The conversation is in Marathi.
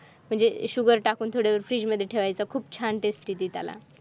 शुगर टाकून थोडे फ्रीजमध्ये ठेवायचा खूप छान दिसते त्याला